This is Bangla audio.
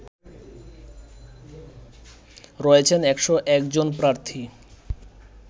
রয়েছেন ১০১ জন প্রার্থী